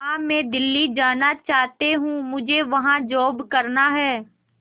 मां मैं दिल्ली जाना चाहते हूँ मुझे वहां जॉब करना है